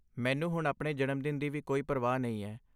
ਮੈਨੂੰ ਹੁਣ ਆਪਣੇ ਜਨਮ ਦਿਨ ਦੀ ਵੀ ਕੋਈ ਪਰਵਾਹ ਨਹੀਂ ਹੈ।